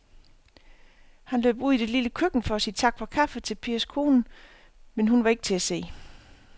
Han løb ud i det lille køkken for at sige tak for kaffe til Pers kone, men hun var ikke til at se.